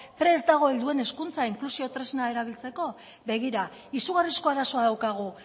prest dago helduen hezkuntza inklusio tresna erabiltzeko begira izugarrizko arazoa daukagu